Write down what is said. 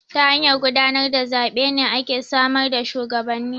Ta hanyar gudanar da zaɓe ne ake samar da shuwagabanni.